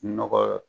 Nɔgɔ